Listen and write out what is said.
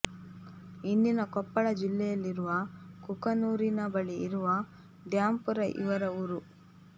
ಇಂದಿನ ಕೊಪ್ಪಳ ಜಿಲ್ಲೆಯಲ್ಲಿರುವ ಕುಕನೂರಿನ ಬಳಿ ಇರುವ ದ್ಯಾಂಪುರ ಇವರ ಊರು